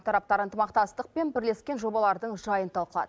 тараптар ынтымақтастық пен бірлескен жобалардың жайын талқылад